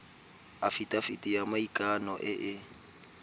afitafiti ya maikano e e